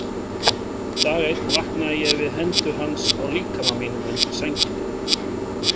Dag einn vaknaði ég við hendur hans á líkama mínum undir sænginni.